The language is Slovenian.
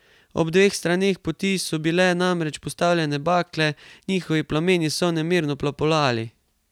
Ob obeh straneh poti so bile namreč postavljene bakle, njihovi plameni so nemirno plapolali.